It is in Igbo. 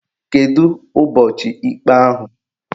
Kedu ụbọchị ikpe ahụ?